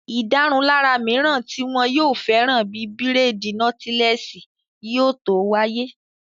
Ìdárunlárà mìíràn tí wọn yóò fẹ́ràn bíi bírèèdì nọ́tílẹ́ẹ̀sì yóò tó wáyé